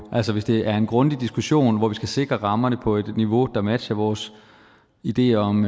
altså hvis det er en grundig diskussion hvor vi skal sikre rammerne på et niveau der matcher vores ideer om